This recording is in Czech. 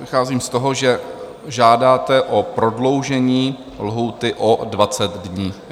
Vycházím z toho, že žádáte o prodloužení lhůty o 20 dní.